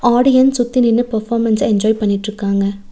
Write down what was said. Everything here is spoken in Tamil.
ஆடியன் சுத்தி நின்னு பெர்ஃபோமன்ஸ என்ஜாய் பண்ணிட்ருக்காங்க.